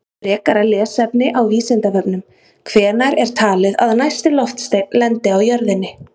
Frekara lesefni á Vísindavefnum: Hvenær er talið að næsti loftsteinn lendi á jörðinni?